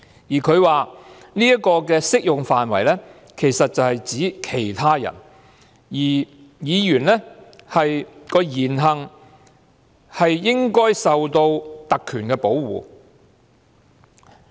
裁判官說這條文的適用範圍其實是指其他人，而議員的言行應受特權的保護。